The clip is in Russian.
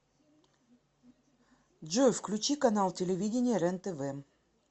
джой включи канал телевидения рен тв